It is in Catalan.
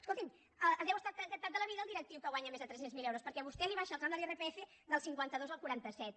escolti’m deu estar encantat de la vida el directiu que guanya més de tres cents miler euros perquè vostè li abaixa el tram de l’irpf del cinquanta dos al quaranta set